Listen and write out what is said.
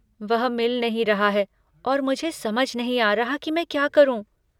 वह मिल नहीं रहा है और मुझे समझ नहीं आ रहा कि मैं क्या करूँ।